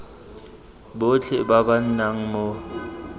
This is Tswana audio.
botlhe ba ba nnang mo